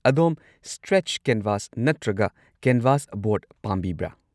ꯑꯗꯣꯝ stretch canvas ꯅꯠꯇ꯭ꯔꯒ canvas board ꯄꯥꯝꯕꯤꯕ꯭ꯔꯥ?